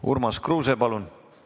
Urmas Kruuse, palun!